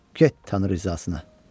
Get Tanrı rizasına.